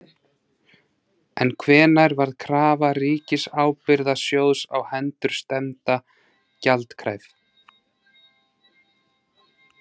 En hvenær varð krafa Ríkisábyrgðasjóðs á hendur stefnda gjaldkræf?